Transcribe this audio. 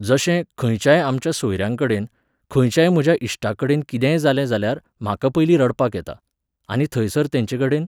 जशें, खंयच्याय आमच्या सोयऱ्यांकडेन, खंयच्याय म्हज्या इश्टाकडेन किदेंय जालें जाल्यार, म्हाका पयलीं रडपाक येता. आनी थंयसर तेंचे कडेन